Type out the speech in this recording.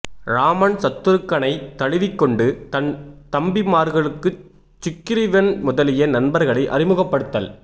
இராமன் சத்துருக்கனைத் தழுவிக்கொண்டு தன் தம்பிமார்கட்குச் சுக்கிரீவன் முதலிய நண்பர்களை அறிமுகப்படுத்தல்